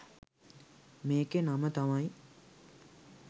මේකේ නම තමයි